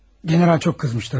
General çox əsəbləşmişdi, əlbəttə.